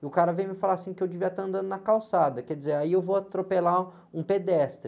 E o cara vem me falar assim que eu devia estar andando na calçada, quer dizer, aí eu vou atropelar um pedestre.